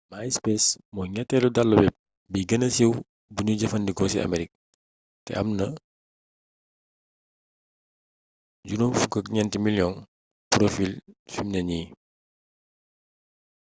myspace mooy ñetteelu dalu web bi gëna siiw buñuy jëfandikoo ci amerik te am na 54 miliyoŋi porofiil fimne nii